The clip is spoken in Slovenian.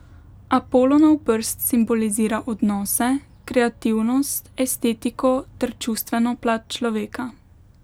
Apolonov prst simbolizira odnose, kreativnost, estetiko ter čustveno plat človeka.